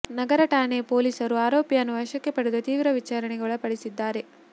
ನಗರ ಠಾಣೆ ಪೊಲೀಸರು ಆರೋಪಿಯನ್ನು ವಶಕ್ಕೆ ಪಡೆದು ತೀವ್ರ ವಿಚಾರಣೆಗೆ ಒಳಪಡಿಸಿದ್ದಾರೆ